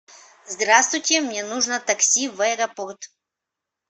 здравствуйте мне нужно такси в аэропорт